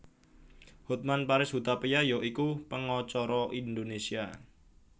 Hotman Paris Hutapea ya iku pengacara Indonesia